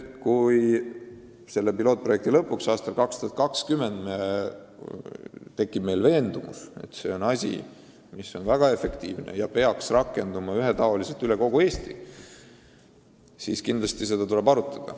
Kui selle pilootprojekti lõpuks, aastaks 2020 tekib veendumus, et see süsteem on efektiivne ja peaks rakenduma kogu Eestis, siis tuleb seda kindlasti arutada.